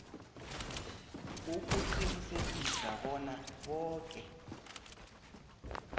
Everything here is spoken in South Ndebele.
ukuqinisekisa bona boke